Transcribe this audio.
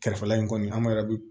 Kɛrɛfɛla in kɔni an yɛrɛ bɛ